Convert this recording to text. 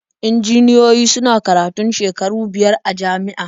Injiniyoyi suna karatun shekaru biyar a jami'a.